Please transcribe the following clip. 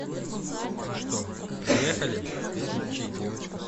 ну что приехали включи